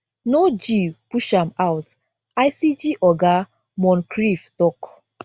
no g push am out icg oga moncrieff tok